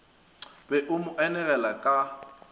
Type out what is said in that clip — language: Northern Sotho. be o mo anegele ka